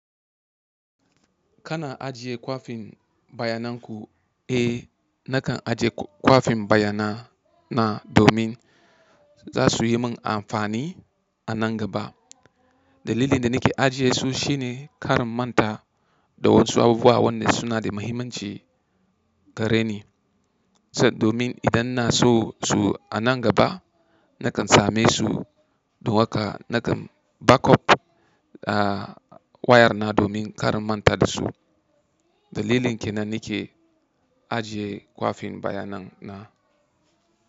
Kana ajiye kwafin bayanan ku? Eh, nakan ajiye kwafin bayana na domin za su yi min amfani a nan gaba. Dalilin da nake ajiye su shine kar in manta da wasu abubuwa wanda suna da mahimmanci gare ni. Domin idan na so su a nan gaba, nakan same su. Don haka nakan back up a wayar na domin kar in manta da su. Dalilin ke nan nake ajiye kwafin bayanan na.